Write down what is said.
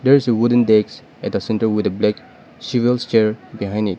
there is a wooden deks at a centre with a black chair behind it.